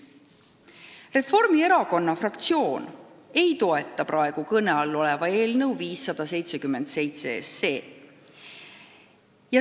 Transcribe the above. Reformierakonna fraktsioon ei toeta praegu kõne all olevat eelnõu 577.